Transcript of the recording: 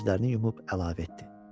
Gözlərini yumub əlavə etdi.